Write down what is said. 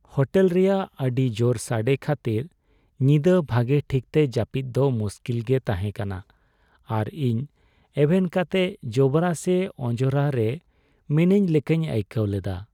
Hotel ᱨᱮᱭᱟᱜ ᱟᱹᱰᱤ ᱡᱳᱨ ᱥᱟᱰᱮ ᱠᱷᱟᱹᱛᱤᱨ ᱧᱤᱫᱟᱹ ᱵᱷᱟᱜᱮ ᱴᱷᱤᱠᱛᱮ ᱡᱟᱹᱯᱤᱫᱽ ᱫᱚ ᱢᱩᱥᱠᱤᱞ ᱜᱮ ᱛᱟᱦᱮᱸ ᱠᱟᱱᱟ ᱟᱨ ᱤᱧ ᱮᱵᱷᱮᱱ ᱠᱟᱛᱮ ᱡᱚᱵᱽᱨᱟ ᱥᱮ ᱚᱸᱡᱽᱨᱟ ᱨᱮ ᱢᱤᱱᱟᱹᱧ ᱞᱮᱠᱟᱧ ᱟᱹᱭᱠᱟᱹᱣ ᱞᱮᱫᱟ ᱾